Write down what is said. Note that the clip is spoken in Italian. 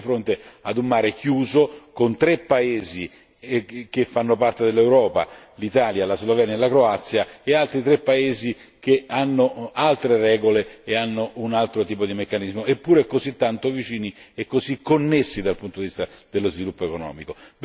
Ci troviamo di fronte a un mare chiuso, con tre paesi che fanno parte dell'Europa Italia, Slovenia e Croazia e altri tre paesi con altre regole e un altro tipo di meccanismo, eppure così tanto vicini e così connessi dal punto di vista dello sviluppo economico.